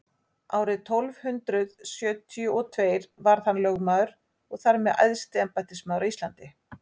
árið tólf hundrað sjötíu og tveir varð hann lögmaður og þar með æðsti embættismaður á íslandi